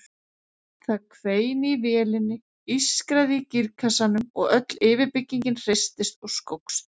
Það hvein í vélinni, ískraði í gírkassanum og öll yfirbyggingin hristist og skókst.